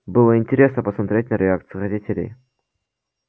было интересно посмотреть на реакцию родителей